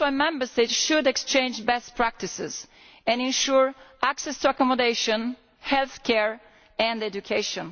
that is why Member States should exchange best practices and ensure access to accommodation, healthcare and education.